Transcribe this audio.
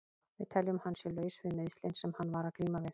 Við teljum að hann sé laus við meiðslin sem hann var að glíma við.